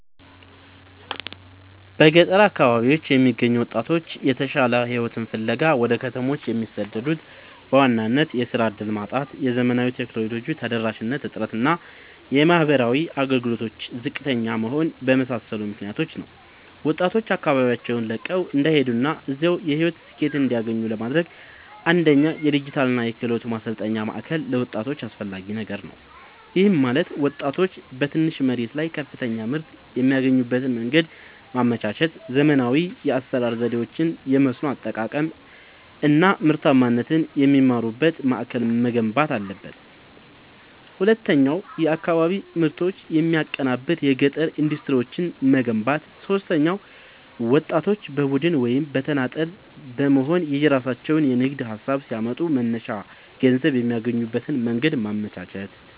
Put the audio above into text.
በገጠር አካባቢዎች የሚገኙ ወጣቶች የተሻለ ሕይወትን ፍለጋ ወደ ከተሞች የሚሰደዱት በዋናነት የሥራ ዕድል ማጣት፣ የዘመናዊ ቴክኖሎጂ ተደራሽነት እጥረት እና የማኅበራዊ አገልግሎቶች ዝቅተኛ መሆን በመሳሰሉ ምክኒያቶች ነው። ወጣቶች አካባቢያቸውን ለቀው እንዳይሄዱና እዚያው የሕይወት ስኬትን እንዲያገኙ ለማድረግ፣ አንደኛ የዲጂታልና የክህሎት ማሠልጠኛ ማእከል ለወጣቶች አስፈላጊ ነገር ነው። ይህም ማለት ወጣቶች በትንሽ መሬት ላይ ከፍተኛ ምርት የሚያገኙበትን መንገድ ማመቻቸት፣ ዘመናዊ የአሠራር ዘዴዎችን፣ የመስኖ አጠቃቀም አናምርታማነትን የሚማሩበት ማእከል መገንባት አለበት። ሁለተኛው የአካባቢ ምርቶችን የሚያቀናብር የገጠር ኢንዱስትሪዎችን መገንባት። ሦስተኛው ወጣቶች በቡድን ወይም በተናጠል በመሆንየራሣቸውን የንግድ ሀሳብ ሲያመጡ መነሻ ገንዘብ የሚያገኙበትን መንገድ ማመቻቸት።